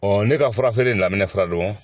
ne ka fura feere daminɛ filɛ don